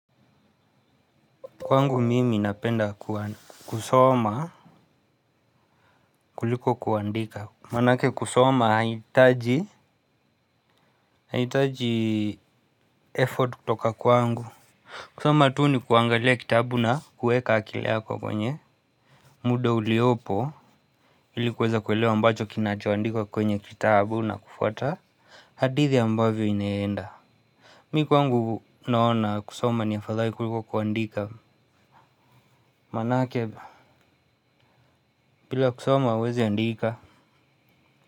Kwangu mimi napenda kusoma kuliko kuandika manake kusoma haitaji haitaji effort kutoka kwangu kusoma tu ni kuangalia kitabu na kuweka akili yako kwenye muda uliopo ili kuweza kuelewa ambacho kinacheandikwa kwenye kitabu na kufwata hadithi ambavyo inaenda mimi kwangu naona kusoma ni afadhai kuliko kuandika manake bila kusoma huwezi andika.